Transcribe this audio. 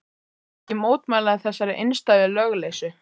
SKÚLI: Ég mótmæli þessari einstæðu lögleysu.